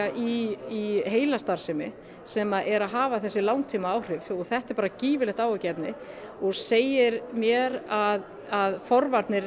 í heilastarfsemi sem er að hafa þessi langtímaáhrif og þetta er gífurlegt áhyggjuefni og segir mér að forvarnir